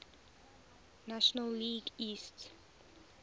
national league east